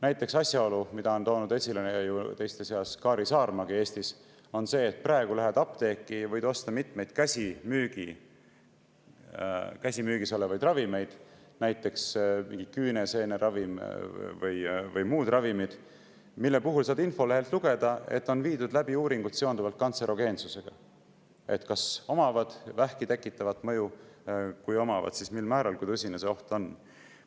Näiteks teiste seas on Kaari Saarma Eestis toonud esile asjaolu, et kui sa lähed praegu apteeki, võid sa osta mitmeid käsimüügis olevaid ravimeid, näiteks mingi küüneseeneravimi või muu ravimi, ja nende infolehelt saad sa lugeda, et on viidud läbi kantserogeensusega seotud uuringuid: kas omab vähki tekitavat mõju, kui omab, siis mil määral, kui tõsine see oht on?